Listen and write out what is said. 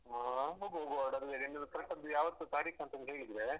ಹ್ಮ್ ಹೋಗುವ ಹೋಗುವ correct ಆಗಿ ಯಾವತ್ತು ತಾರೀಖು ಅಂತ ಹೇಳಿದ್ರೆ.